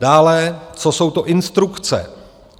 Dále, co jsou to instrukce?